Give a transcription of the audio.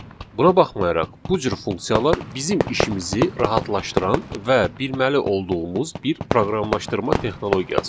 Buna baxmayaraq, bu cür funksiyalar bizim işimizi rahatlaşdıran və bilməli olduğumuz bir proqramlaşdırma texnologiyasıdır.